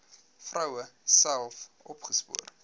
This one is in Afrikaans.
vroue self opgespoor